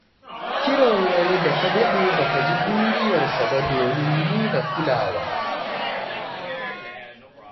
Kiran wani da ka daɗe ba ka ji ɗuriyarsa ba domin nuna kulawa.